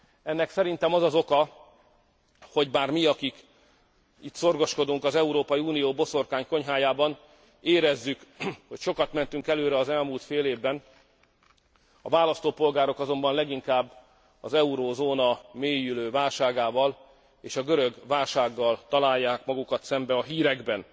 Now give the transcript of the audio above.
Ennek szerintem az az oka, hogy bár mi, akik itt szorgoskodunk az Európai Unió boszorkánykonyhájában, érezzük, hogy sokat mentünk előre az elmúlt fél évben, a választópolgárok azonban leginkább az eurózóna mélyülő válságával és a görög válsággal találják magukat szembe a hírekben.